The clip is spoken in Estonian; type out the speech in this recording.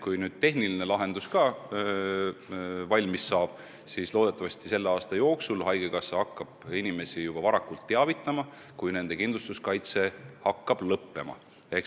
Kui tehniline lahendus ka valmis saab, siis loodetavasti juba selle aasta jooksul hakkab haigekassa inimesi varakult teavitama, kui nende kindlustuskaitse hakkab lõppema.